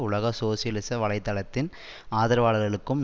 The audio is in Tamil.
உலக சோசியலிச வலை தளத்தின் ஆதரவாளர்களுக்கும்